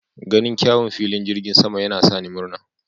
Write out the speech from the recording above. Ganin kyawun filin jirgin sama yana sa ni murna.